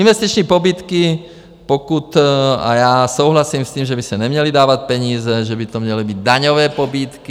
Investiční pobídky, pokud, a já souhlasím s tím, že by se neměly dávat peníze, že by to měly být daňové pobídky.